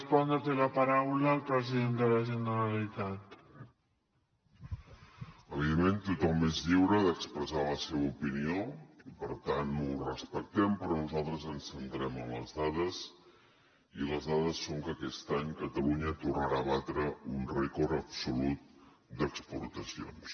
evidentment tothom és lliure d’expressar la seva opinió i per tant ho respectem però nosaltres ens centrem en les dades i les dades són que aquest any catalunya tornarà a batre un rècord absolut d’exportacions